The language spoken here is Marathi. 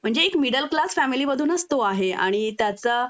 म्हणजे एक मिडल क्लास फॅमिली मधूनच तो आहे आणि त्याचा